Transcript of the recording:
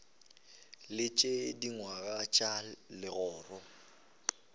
le tše dingwe tša legoro